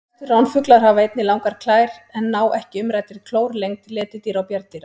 Stærstu ránfuglar hafa einnig langar klær en ná ekki umræddri klór lengd letidýra og bjarndýra.